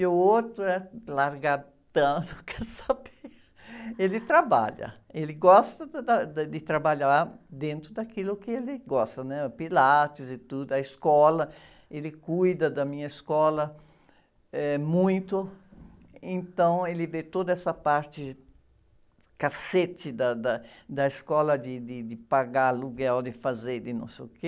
e o outro é largadão, só que saber, ele trabalha, ele gosta da, da, de trabalhar dentro daquilo que ele gosta, né? O pilates e tudo, a escola, ele cuida da minha escola, eh, muito, então, ele vê toda essa parte, cacete da, da, da escola, de, de, de pagar aluguel, de fazer, de não sei o quê,